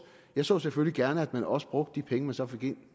jeg så selvfølgelig gerne at man også brugte de penge man så fik ind